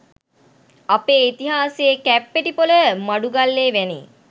අපේ ඉතිහාසයේ කැප්පෙටිපොල මඩුගල්ලේ වැනි